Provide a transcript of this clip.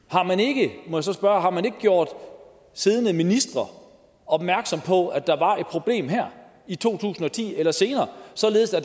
må jeg så spørge har man ikke gjort siddende ministre opmærksom på at der var et problem her i to tusind og ti eller senere således at